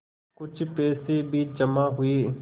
कुछ पैसे भी जमा हुए